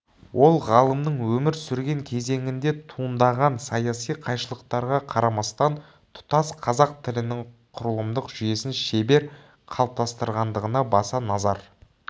ол ғалымның өмір сүрген кезеңінде туындаған саяси қайшылықтарға қарамастан тұтас қазақ тілінің құрылымдық жүйесін шебер қалыптастырғандығына баса назар